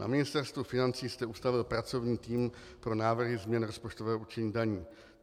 Na Ministerstvu financí jste ustavil pracovní tým pro návrhy změn rozpočtového určení daní.